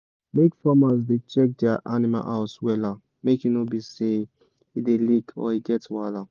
make farmers da check dia animal house wella make e no be say e da leak or e get wahala